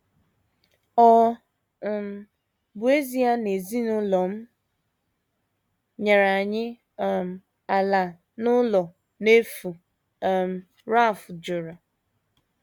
Ọ um bụ ezie na ezinụlọ m nyere anyị um ala na ụlọ n’efu um, Ralph jụrụ.